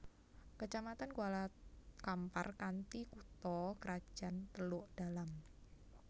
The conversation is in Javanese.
Kecamatan Kuala Kampar kanthi kutha krajan Teluk Dalam